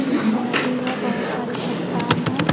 पीछे नदी है। बहुत सारे चट्टान हैं।